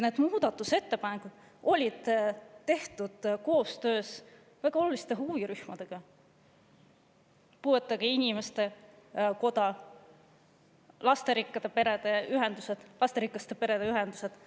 Need muudatusettepanekud olid tehtud koostöös väga oluliste huvirühmadega: puuetega inimeste kojaga, lasterikaste perede ühendustega.